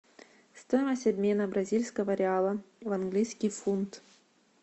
стоимость обмена бразильского реала в английский фунт